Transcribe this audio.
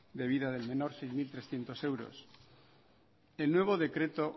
de vida del menor seis mil trescientos euros el nuevo decreto